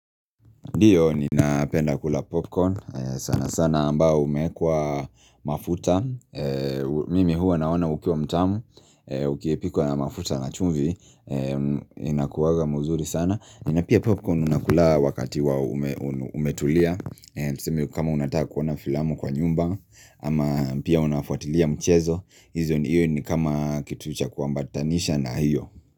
Ndiyo, ninapenda kula popcorn, sana sana ambao umeekwa mafuta Mimi huwa naona ukiwa mtamu, ukiepikwa na mafuta na chumvi Inakuwaga muzuri sana Ninapia popcorn unakula wakati wa umetulia Tuseme kama unataka kuona filamu kwa nyumba ama pia unafuatilia mchezo hizo ni iyo ni kama kitu cha kuambatanisha na hiyo.